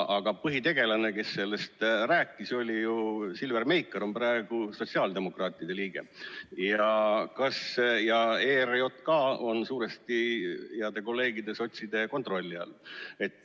Aga põhitegelane, kes sellest rääkis, oli ju Silver Meikar, kes on praegu sotsiaaldemokraatide liige, ja ERJK on suuresti heade kolleegide sotside kontrolli all.